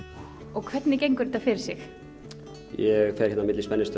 og hvernig gengur þetta fyrir sig ég fer hér á milli